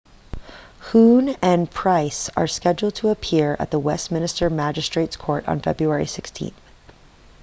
huhne and pryce are scheduled to appear at the westminster magistrates court on february 16